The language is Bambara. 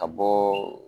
Ka bɔ